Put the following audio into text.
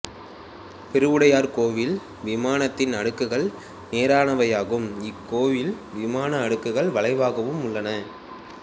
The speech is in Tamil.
பெருவுடையார் கோயில் விமானத்தின் அடுக்குகள் நேரானவையாகும் இக்கோயில் விமான அடுக்குகள் வளைவாகவும் உள்ளன